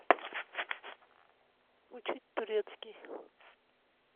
учить турецкий